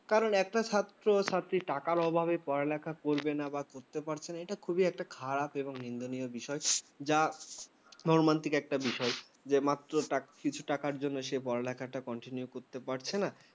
একটা ছাত্র ছাত্রী টাকার অভাবে পড়ালেখা করবে না বা করতে পারছে না এটা খুবই একটা খারাপ এবং নিন্দনীয় বিষয় যা মহামান্তিক একটা বিষয়, যে মাত্র কিছু টাকার জন্য সে পড়ালেখা continue করতে পারছে না ।